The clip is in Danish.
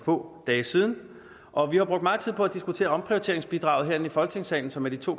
få dage siden og vi har brugt meget tid på at diskutere omprioriteringsbidraget herinde i folketingssalen som er de to